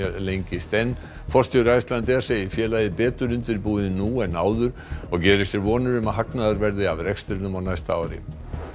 lengist enn forstjóri Icelandair segir félagið betur undirbúið nú en áður og gerir sér vonir um að hagnaður verði af rekstrinum á næsta ári